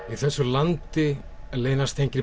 í þessu landi leynast engir